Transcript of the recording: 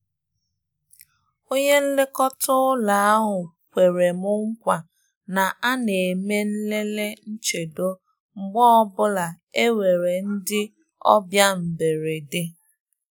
Onye nlekọta ụ́lọ́ ahụ kwere m nkwa na a na-eme nlele nchedo mgbe ọ bụla e nwere ndị e nwere ndị ọbịa mberede.